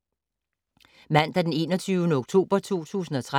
Mandag d. 21. oktober 2013